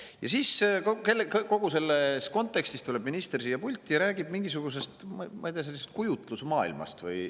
Ja kogu selles kontekstis tuleb minister siia pulti ja räägib justkui mingisugusest kujutlusmaailmast.